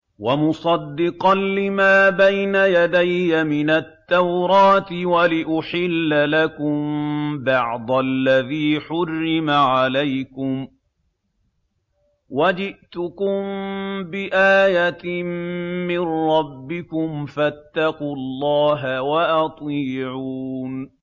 وَمُصَدِّقًا لِّمَا بَيْنَ يَدَيَّ مِنَ التَّوْرَاةِ وَلِأُحِلَّ لَكُم بَعْضَ الَّذِي حُرِّمَ عَلَيْكُمْ ۚ وَجِئْتُكُم بِآيَةٍ مِّن رَّبِّكُمْ فَاتَّقُوا اللَّهَ وَأَطِيعُونِ